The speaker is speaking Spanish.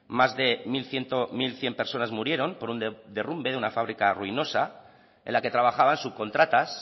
más de mil cien personas murieron por un derrumbe de una fábrica ruinosa en la que trabajaban subcontratas